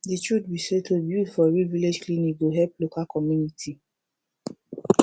de truth be say to build for real village clinic go help local community